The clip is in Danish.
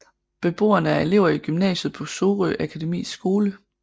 Beboerne er elever i gymnasiet på Sorø Akademis Skole